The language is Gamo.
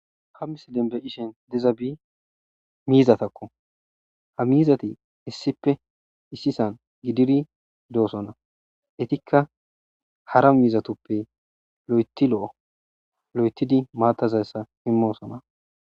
Ha missilen be'ishin dizabi mizzatakko ha mizati issipe issisa gididi dosona etikka hara mizzatuppe lo"eththi lo'o lo'ethidi matata imosona